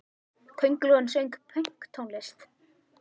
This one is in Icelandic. Köngulóin söng pönktónlist!